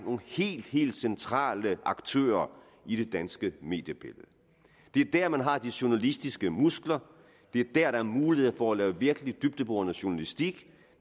helt helt centrale aktører i det danske mediebillede det er der man har de journalistiske muskler det er der der er mulighed for at lave virkelig dybdeborende journalistik